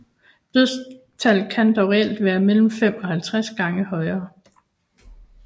Dødstallet kan dog reelt være mellem 5 og 50 gange højere